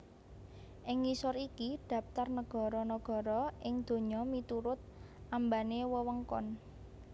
Ing ngisor iki dhaptar nagara nagara ing donya miturut ambané wewengkon